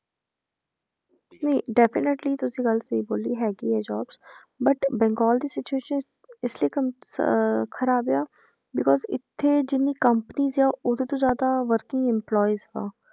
ਨਹੀਂ definitely ਤੁਸੀਂ ਗੱਲ ਸਹੀ ਬੋਲੀ ਹੈਗੀ ਹੈ jobs but ਬੰਗਾਲ ਦੀ situation ਇਸ ਲਈ ਕੰਮ~ ਅਹ ਖ਼ਰਾਬ ਆ because ਇੱਥੇ ਜਿੰਨੀ companies ਆ, ਉਹਦੇ ਤੋਂ ਜ਼ਿਆਦਾ working employees ਆ,